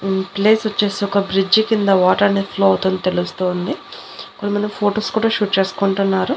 ఈ ప్లేస్ వచ్చేసి ఒక బ్రిడ్జి కింద వాటర్ అనేది ఫ్లో అవుతున్నట్టు తెలుస్తోంది కొంతమంది ఫొటోస్ కూడా షూట్ చేసుకుంటున్నారు.